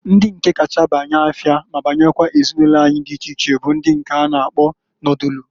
Ndi kacha banya afịa ma banyekwuazị ezinụlo anyị di iche iche bụ ndi nke a na akpọ nodulu.